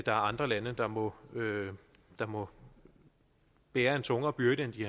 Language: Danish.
andre lande der må der må bære en tungere byrde end de